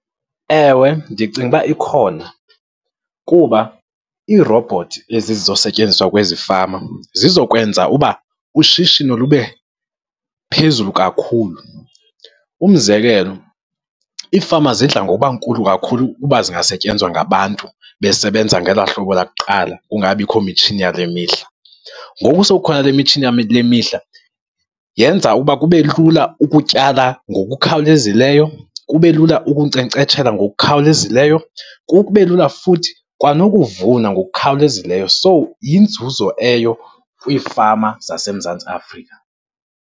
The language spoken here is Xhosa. Ewe, ndicinga ukuba ikhona, kuba iirobhothi ezizosetyenziswa kwezi fama zizokwenza uba ushishino lube phezulu kakhulu. Umzekelo iifama zidla ngoba nkulu kakhulu ukuba zingasetyenzwa ngabantu, besebenza ngela hlobo lakuqala kungekabikho mitshini yale mihla. Ngoku sekukhona le mitshini yale mihla, yenza ukuba kube lula ukutyala ngokukhawulezileyo, kube lula ukunkcenkceshela ngokukhawulezileyo, kube lula futhi kwanokuvuna ngokukhawulezileyo. So, yinzuzo eyo kwiifama waseMzantsi Afrika.